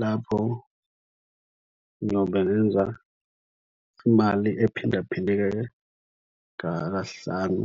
Lapho ngiyobe ngenza imali ephinda phindeke kahlanu.